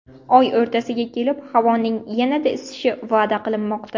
Oy o‘rtasiga kelib havoning yanada isishi va’da qilinmoqda.